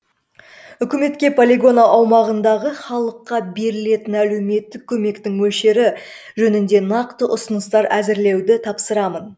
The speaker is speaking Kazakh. үкіметке полигон аумағындағы халыққа берілетін әлеуметтік көмектің мөлшері жөнінде нақты ұсыныстар әзірлеуді тапсырамын